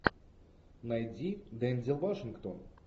найди дензел вашингтон